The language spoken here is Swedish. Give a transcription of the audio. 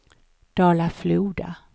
Dala-Floda